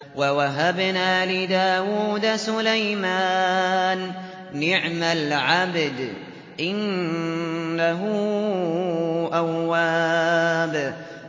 وَوَهَبْنَا لِدَاوُودَ سُلَيْمَانَ ۚ نِعْمَ الْعَبْدُ ۖ إِنَّهُ أَوَّابٌ